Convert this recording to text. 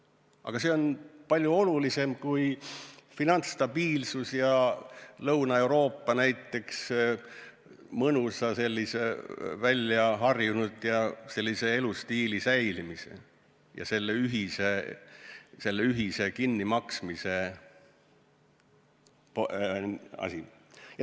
Aga see on palju olulisem kui finantsstabiilsus ja Lõuna-Euroopa mõnusa sisseharjunud elustiili säilitamise ühine kinnimaksmine.